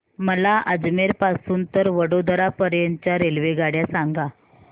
मला अजमेर पासून तर वडोदरा पर्यंत च्या रेल्वेगाड्या सांगा